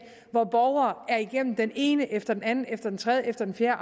hvor borgere er igennem den ene arbejdsprøvning efter den anden efter den tredje efter den fjerde